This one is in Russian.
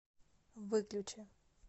выключи